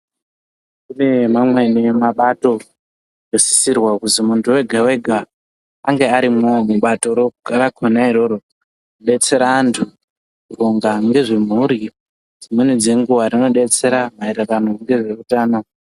Kune mamweni mabato anosisirwa kuzi muntu wega wega ange arimwowo mubatoro rona iroro kudetsera antu kuronga ngezvemhuri dzimweni dzenguwa Rinodetsera maererano ngezveutano.